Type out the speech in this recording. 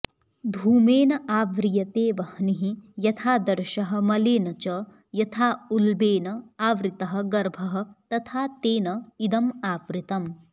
धूमेन आव्रियते वह्निः यथादर्शः मलेन च यथा उल्बेन आवृतः गर्भः तथा तेन इदम् आवृतम्